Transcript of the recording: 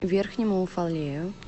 верхнему уфалею